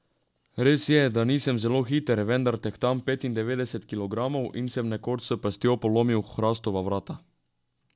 Res je, da nisem zelo hiter, vendar tehtam petindevetdeset kilogramov in sem nekoč s pestjo polomil hrastova vrata.